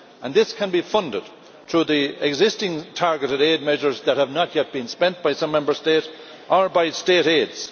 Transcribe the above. This can be funded through the existing targeted aid measures that have not yet been spent by some Member States or by state aids.